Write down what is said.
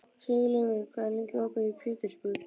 Siglaugur, hvað er lengi opið í Pétursbúð?